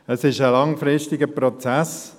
Es ist ein langfristiger Prozess.